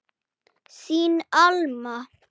Þín Alma.